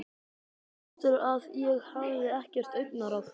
Ég tók eftir að ég hafði ekkert augnaráð.